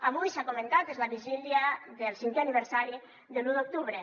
avui s’ha comentat és la vigília del cinquè aniversari de l’u d’octubre